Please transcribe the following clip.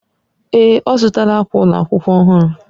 Èè,, ọ zụtala akwa ụlọ akwụkwọ ọhụrụ.